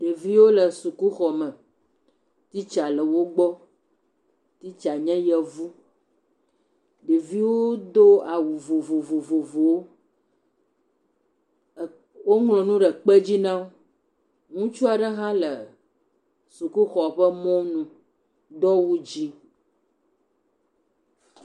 Ɖeviwo le sukuxɔme. Titsa le wogbɔ. Titsa nye Yevu. Ɖeviwo do awu vovovowo. ɛɛ, woŋlɔ nu ɖe ekpedzi na wo. Ŋutsu aɖe hã le sukuxɔ ƒe mɔnu, do awu dzɛ̃.